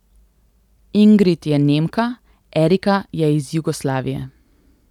Ingrid je Nemka, Erika je iz Jugoslavije.